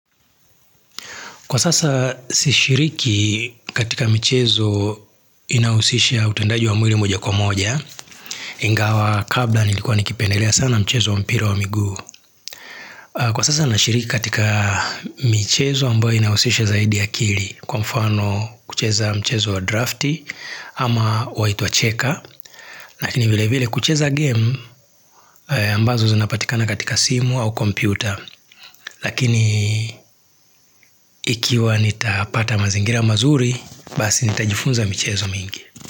Kwa sasa si shiriki katika mchezo inausisha utendaji wa mwili moja kwa moja. Ingawa kabla nilikuwa nikipendelea sana mchezo wa mpira wa miguu. Kwa sasa na shiriki katika michezo ambayo inausisha zaidi ya akili. Kwa mfano kucheza mchezo wa drafti ama wa itwa cheka. Lakini vile vile kucheza game ambazo zinapatikana katika simu au kompyuta. Lakini ikiwa nitapata mazingira mazuri Basi nitajifunza michezo mingi.